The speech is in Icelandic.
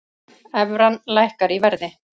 Evran lækkar í verði